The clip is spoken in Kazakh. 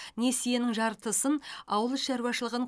несиенің жартысын ауыл шаруашылығын